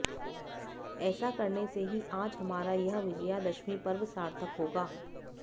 ऐसा करने से ही आज हमारा यह विजयादशमी पर्व सार्थक होगा